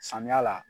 Samiya la